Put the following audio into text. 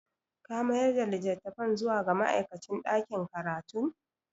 Ka mayar da litattafan zuwa ga ma'aikacin ɗakin karatun?